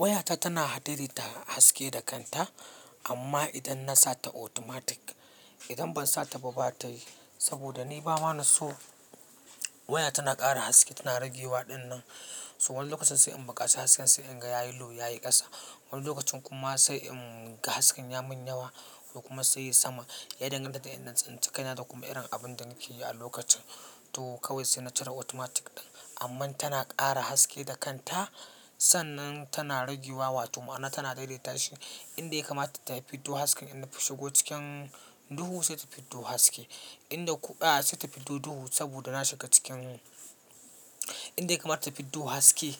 Wayata tana hadede ta haske da kanta amma idan na sa ta automatic, idan ban sa ta ba bata yi saboda ni ba ma na so waya tana ƙara haske, tana rage waɗinnan. So wani lokacin sai in baƙaci hasken sai in ga yayi lo yayi ƙasa. Wani lokacin kuma sai in ga hasken ya mun yawa ko kuma sai yi sama. Ya danganta da inda na tsinci kaina da kuma irin abun da nake yi a lokacin. To kawai sai na cire automatic ɗin amman tana ƙara haske da kanta. Sannan tana rage wa wato ma'ana tana daidaita shi. Inda ya kamata ta fiddo haske, inka shigo cikin duhu sai ta fiddo haske. Inda ku a sai ta fiddo duhu saboda na shiga cikin inda ya kamata ta fiddo haske,